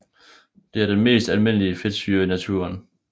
Det er den mest almindelige fedtsyre i naturen